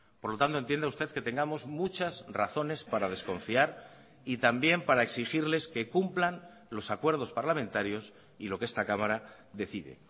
por lo tanto entienda usted que tengamos muchas razones para desconfiar y también para exigirles que cumplan los acuerdos parlamentarios y lo que esta cámara decide